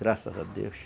Graças a Deus.